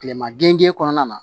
Kilema gengen kɔnɔna na